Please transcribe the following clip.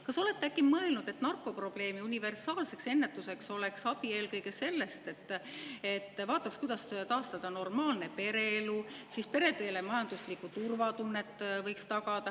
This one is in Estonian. Kas te olete äkki mõelnud, et narkoprobleemi universaalseks ennetuseks oleks abi eelkõige sellest, et vaataks, kuidas taastada normaalne pereelu ja tagada peredele majanduslik turvatunne?